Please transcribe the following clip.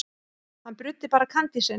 Hann bruddi bara kandísinn.